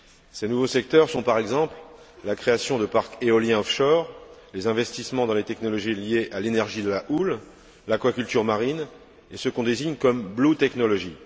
Ces nouveaux secteurs sont, par exemple, la création de parcs éoliens offshore les investissements dans les technologies liées à l'énergie de la houle, l'aquaculture marine et ce qu'on désigne par blue technology